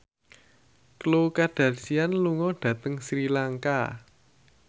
Khloe Kardashian lunga dhateng Sri Lanka